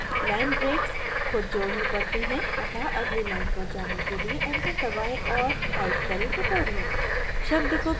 line breaks खुद जोड़नी पड़ती हैं अतः अगली line पर जाने के लिए enter दबाएं और type करें tutorial